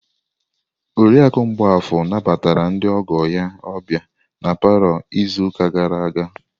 Oriakụ Mgbafor nabatara ndị ọgọ ya ọbịa na palọ izu ụka gara aga.